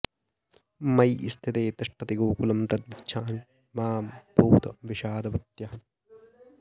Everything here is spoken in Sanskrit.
मयि स्थिते तिष्ठति गोकुलं तद्गच्छामि मा भूत विषादवत्यः